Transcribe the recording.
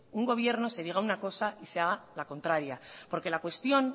un gobierno se diga una cosa y se haga la contraria porque la cuestión